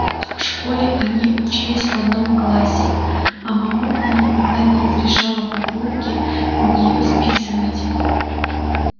в школе они учились в одном классе а мамулька никогда не разрешала папульке у неё списывать